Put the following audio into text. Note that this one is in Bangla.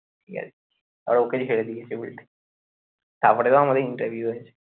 ঠিক আছে তারপর ওকে ঝেড়ে দিয়েছে উল্টে তারপরে তো আমাদের interview হয়েছে